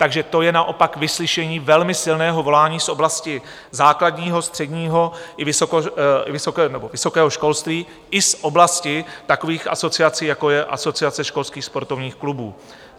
Takže to je naopak vyslyšení velmi silného volání z oblasti základního, středního i vysokého školství i z oblasti takových asociací, jako je Asociace školských sportovních klubů.